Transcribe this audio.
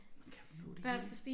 Kan du nå det hele